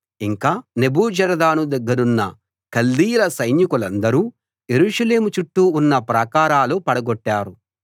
ఇంకా నెబూజరదాను దగ్గరున్న కల్దీయుల సైనికులందరూ యెరూషలేము చుట్టూ ఉన్న ప్రాకారాలు పడగొట్టారు